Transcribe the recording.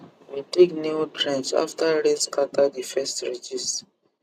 we dig new trench after rain scatter the first ridges